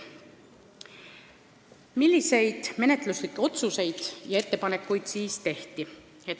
Milliseid menetluslikke otsuseid ja ettepanekuid tehti?